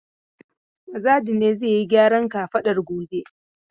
Mazadu ne zai yi gyaran kafadan gobe.